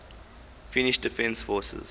finnish defence forces